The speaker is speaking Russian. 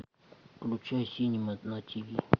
включай синема на тиви